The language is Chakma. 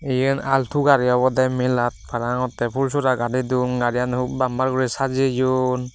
eyan alto gari obodey melat parang ottey fulsora gadedon gari aan hup bamper guri sajeyoun.